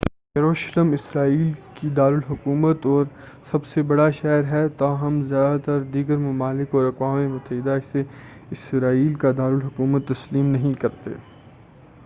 یروشلم اسرائیل کی دارالحکومت اور سب سے بڑا شہر ہے تاہم زیادہ تر دیگر ممالک اور اقوام متحدہ اسے اسرائیل کا دار الحکومت تسلیم نہیں کرتے ہیں